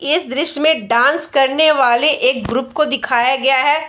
इस दृश्य में डांस करने वाले एक ग्रुप को दिखाया गया है।